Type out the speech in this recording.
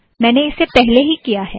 मैंने इसे पहले ही किया है